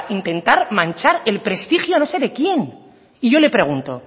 intentar manchar el prestigio no sé de quién y yo le pregunto